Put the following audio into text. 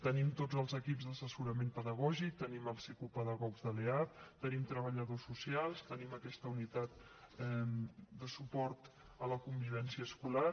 tenim tots els equips d’assessorament pedagògic tenim els psicopedagogs de l’eap tenim treballadors socials tenim aquesta unitat de suport a la convivència escolar